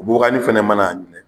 O bubaganin fana mana a minɛ